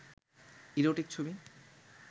erotic ছবি